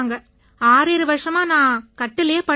67 வருஷமா நான் கட்டில்லயே படுத்துக் கிடக்கேன்